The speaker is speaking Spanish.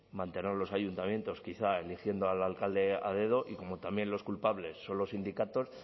mantener a los ayuntamientos quizá eligiendo al alcalde a dedo y como también los culpables son los sindicatos